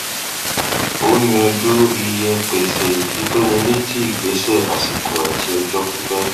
ó yànjú iye pèsè ìfitónilétí ìgbésẹ àsìkò àti ọjọ pípẹ